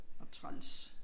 Og træls